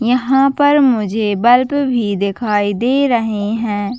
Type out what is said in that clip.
यहाँ पर मुझे बर्फ भी दिखाई दे रहे है।